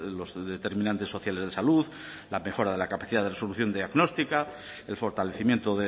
los determinantes sociales de salud la mejora de la capacidad de resolución diagnostica el fortalecimiento